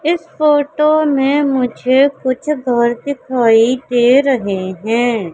इस फोटो में मुझे कुछ घर दिखाई दे रहे हैं।